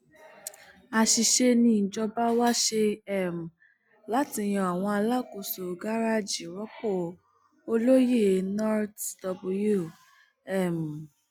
àṣìṣe nìjọba wá ṣe um láti yan àwọn alákòóso garaajì rọpò olóyè nurtw um